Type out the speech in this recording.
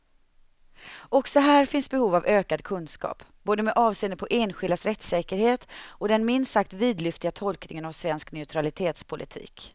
Också här finns behov av ökad kunskap, både med avseende på enskildas rättssäkerhet och den minst sagt vidlyftiga tolkningen av svensk neutralitetspolitik.